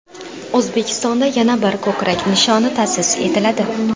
O‘zbekistonda yana bir ko‘krak nishoni ta’sis etiladi.